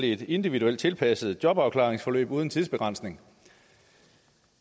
i et individuelt tilpasset jobafklaringsforløb uden tidsbegrænsning